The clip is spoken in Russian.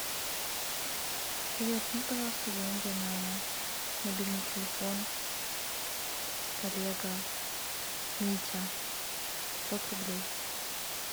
привет кинь пожалуйста деньги на мобильный телефон коллега митя пятьсот рублей